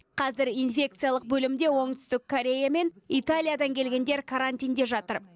қазір инфекциялық бөлімде оңтүстік корея мен италиядан келгендер карантинде жатыр